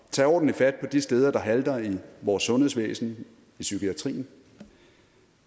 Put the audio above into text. tage ordentligt fat på de steder der halter i vores sundhedsvæsen i psykiatrien